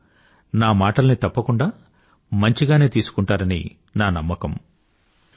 మీరు నా మాటలని తప్పకుండా మంచిగానే తీసుకుంటారని నా నమ్మకం